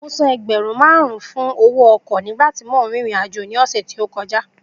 Mo san ẹgbẹ̀rún márùn-ún fún owó ọkọ̀ nígbà tí mò ń rìnrìn àjò ní ọ̀sẹ̀ tí ó kọjá